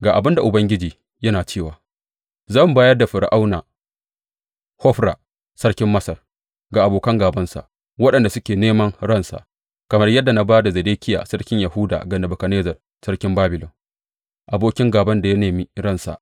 Ga abin da Ubangiji yana cewa, Zan bayar da Fir’auna Hofra sarkin Masar ga abokan gābansa waɗanda suke neman ransa, kamar yadda na ba da Zedekiya sarkin Yahuda ga Nebukadnezzar sarkin Babilon, abokin gāban da ya nemi ransa.